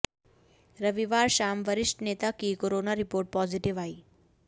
रविवार शाम वरिष्ठ नेता की कोरोना रिपोर्ट पॉजिटिव आई